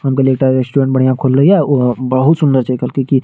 हम कहलिये एकटा रेस्टोरेंट बढ़िया खुल्ले हिया उ बहुत सुन्दर छे खहलके की --